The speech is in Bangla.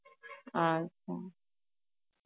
আচ্ছা.